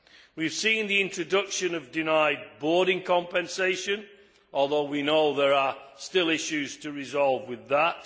We have seen the introduction of denied boarding compensation although we know there are still issues to resolve with that.